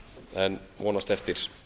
en vonast eftir